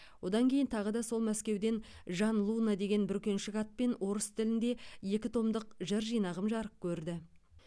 одан кейін тағы да сол мәскеуден жан луна деген бүркеншік атпен орыс тілінде екі томдық жыр жинағым жарық көрді